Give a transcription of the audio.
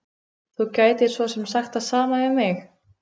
Þú gætir svo sem sagt það sama við mig.